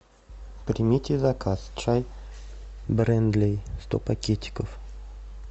примите заказ чай брендлей сто пакетиков